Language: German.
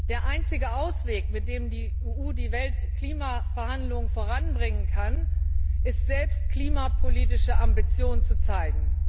Der einzige Ausweg, mit dem die EU die Weltklimaverhandlungen voranbringen kann, ist, selbst klimapolitische Ambitionen zu zeigen.